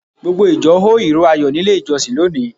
Gbogbo ìjọ hó ìró Ayọ̀ nílé ìjọsìn lónìí.